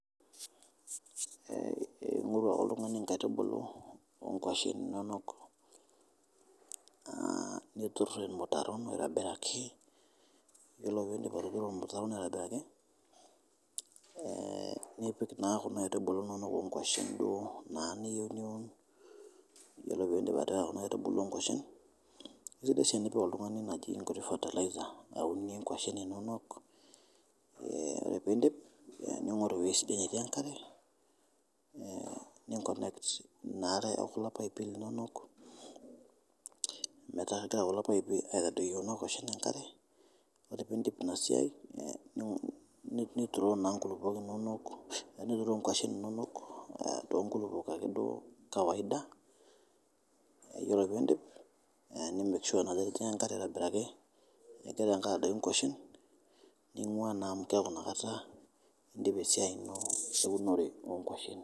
Ing'oru ake iltungani inkaitubulu oo ngoshen inonok, niturr lmitaro aitobiraki, ore piindip atuturo lmutaro lino aitobiraki ,nipik naa kuna aitubulu inonok ongoshen duo naa nieuo, iyolo piindip atea kuna aitubulu oo ngoshen ,enare oshi nipik oltungani nkutii fertilizer aunie ngoshen inonok, ore piindip ning'oru weji sidai natii enkare, ninkonekt naatae kulo paipi inonok metaa keyau kulo paipi aitodouyu kuna koshen enkare, ore piindip ina siaai niturroo na nkulupok inonok to nkulupo ake duo kawaida, iyolo piindip ni make sure ajo etijing'a nkare aitobiraki, nipik ilkaad enkoshen ning'uaa naa amu keaku inakata indipa esiaai ino e unore oo ngoshen.